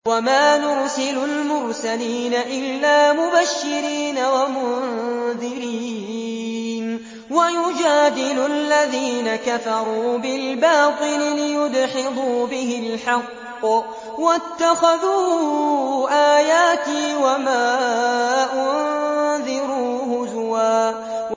وَمَا نُرْسِلُ الْمُرْسَلِينَ إِلَّا مُبَشِّرِينَ وَمُنذِرِينَ ۚ وَيُجَادِلُ الَّذِينَ كَفَرُوا بِالْبَاطِلِ لِيُدْحِضُوا بِهِ الْحَقَّ ۖ وَاتَّخَذُوا آيَاتِي وَمَا أُنذِرُوا هُزُوًا